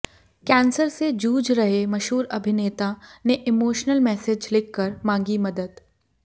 cancer से जूझ रहे मशहूर अभिनेता ने इमोशनल मैसज लिखकर मांगी मदद